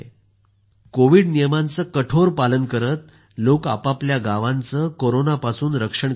Covid नियमांचं पालन कठोर पालन करत लोक आपापल्या गावांचं कोरोनापासून रक्षण करत आहेत